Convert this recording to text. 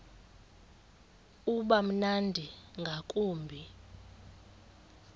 uba mnandi ngakumbi